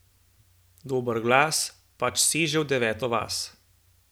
Dober glas pač seže v deveto vas.